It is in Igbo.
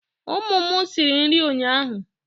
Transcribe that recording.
ụmụ m siri nri ụnyahụ